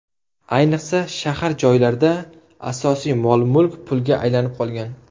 Ayniqsa, shahar joylarda asosiy mol-mulk pulga aylanib qolgan.